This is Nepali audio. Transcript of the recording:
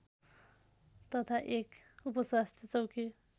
तथा एक उपस्वास्थ्य चौकी